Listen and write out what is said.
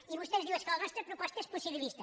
i vostè ens diu és que la nostra proposta és possibi·lista